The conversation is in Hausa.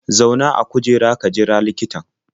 Zauna a kujera ka jira likitan.